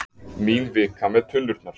Mín vika með tunnurnar.